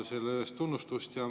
Selle eest tunnustus.